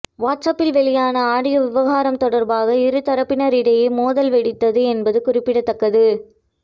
வாட்ஸ்அப்பில் வெளியான ஆடியோ விவகாரம் தொடர்பாக இருதரப்பினர் இடையே மோதல் வெடித்தது என்பது குறிப்பிடத்தக்கது